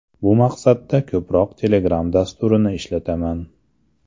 Bu maqsadda ko‘proq Telegram dasturini ishlataman.